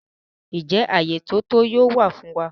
Njẹ àyé ti ó to yóò wa fun wa?